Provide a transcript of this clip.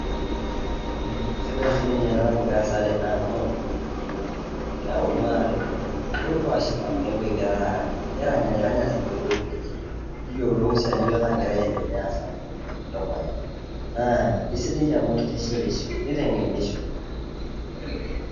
Sidai sinye ena nagira aasa tene amu keyau iltunganak tenebo. Nepuo aashipa egira Arany . Niranyranya isinkolitin linchi ,niyiolou si ajo kainyioo nagira aendelea aasa te dukuya. Naa isidai doi amu kitishipisho ,nitengenisho.